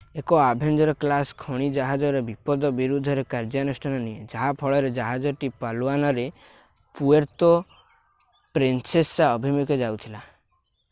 ଏକ Avenger class ଖଣି ଜାହାଜର ବିପଦ ବିରୁଦ୍ଧ ରେ କାର୍ଯ୍ୟାନୁଷ୍ଠାନ ନିଏ ଯାହା ଫଳରେ ଜାହାଜଟି ପାଲୱାନରେ ପୁଏର୍ତୋ ପ୍ରିନ୍ସେସା ଅଭିମୁଖେ ଯାଉଥିଲା